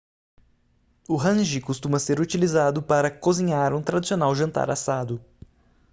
o hangi costuma ser utilizado para cozinhar um tradicional jantar assado